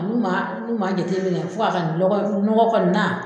N'u n'u ma jateminɛ fo ka kɛ nɔgɔ kɔni na.